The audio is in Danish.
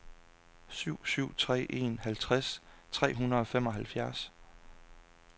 syv syv tre en halvtreds tre hundrede og femoghalvfjerds